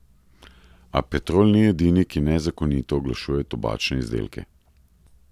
A Petrol ni edini, ki nezakonito oglašuje tobačne izdelke.